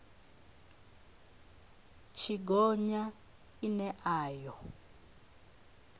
tshi gonya ine a yo